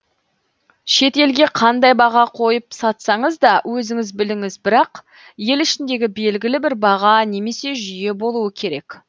шет елге қандай баға қойып сатсаңыз да өзіңіз біліңіз бірақ ел ішіндегі белгілі бір баға немесе жүйе болуы керек